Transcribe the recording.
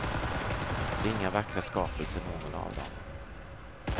Det är inga vackra skapelser någon av dem.